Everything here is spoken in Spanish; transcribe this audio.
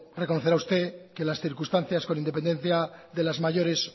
reconocerá usted que las circunstancias con independencia de las mayores